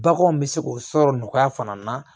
Baganw bɛ se k'o sɔrɔ nɔgɔya fana na